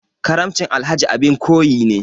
Karamcin Alhaji abin koyi ne.